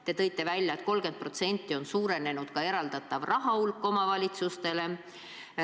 Te ütlesite, et 30% on suurenenud eraldatava raha hulk omavalitsustele.